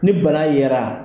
Ni bana yera